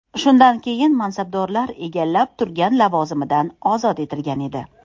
Shunday keyin mansabdor egallab turgan lavozimidan ozod etilgan edi .